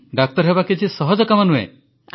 ଡାକ୍ତର ହେବା କିଛି ସହଜ କାମ ନୁହେଁ